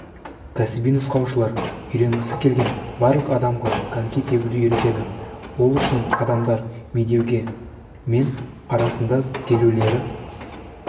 кәсіби нұсқаушылар үйренгісі келген барлық адамға коньки тебуді үйретеді ол үшін адамдар медеуге мен арасында келулері